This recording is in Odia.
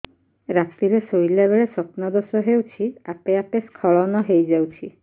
ରାତିରେ ଶୋଇଲା ବେଳେ ସ୍ବପ୍ନ ଦୋଷ ହେଉଛି ଆପେ ଆପେ ସ୍ଖଳନ ହେଇଯାଉଛି